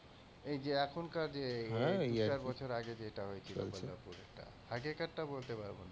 এই যে এখনকার যে তিন চার বছর আগে যেটা হয়েছিলো বল্লভপুরের টা, আগেকারটা বলতে পারব না,